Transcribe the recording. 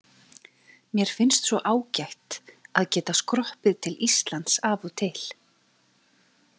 Mér finnst svo ágætt að geta skroppið til íslands af og til.